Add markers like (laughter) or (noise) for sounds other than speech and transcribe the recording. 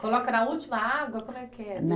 Coloca na última água, como é que é? (unintelligible)